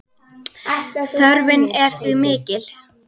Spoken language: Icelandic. Þörfin er því mikil.